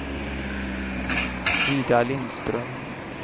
Ida Lindström